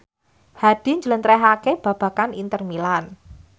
Hadi njlentrehake babagan Inter Milan